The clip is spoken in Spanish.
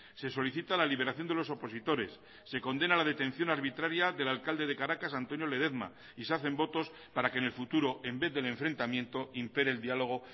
se solicita la liberación de los opositores se condena la detención arbitraria del alcalde de caracas antonio ledezma y se hacen votos para que en el futuro en vez del enfrentamiento impere el diálogo